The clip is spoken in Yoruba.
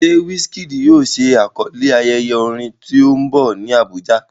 Ṣé Wizkid yóò ṣe àkọlé ayẹyẹ orin tó ń bọ̀ ní Abuja?